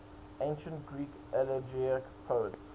ancient greek elegiac poets